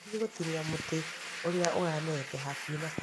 Ndathiĩ gũtinia mũtĩ ũrĩa ũmerete hakũhĩ na bara